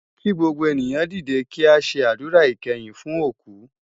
Ki gbógbó éniyan didé ki á sé ádúrá ikèyin fún ókú